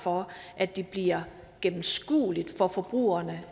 for at det bliver gennemskueligt for forbrugerne